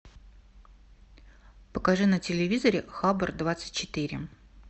покажи на телевизоре хабр двадцать четыре